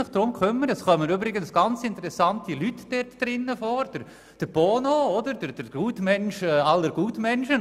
Es kommen übrigens ganz interessante Leute darin vor, zum Beispiel Bono, der Gutmensch aller Gutmenschen.